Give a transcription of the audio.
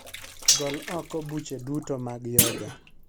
Gol oko buche duto mag Yoga